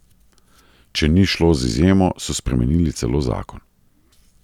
Če ni šlo z izjemo, so spremenili celo zakon.